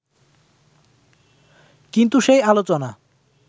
কিন্তু সেই আলোচনা